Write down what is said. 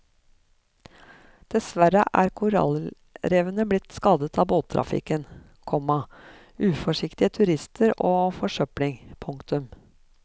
Dessverre er korallrevene blitt skadet av båttrafikken, komma uforsiktige turister og forsøpling. punktum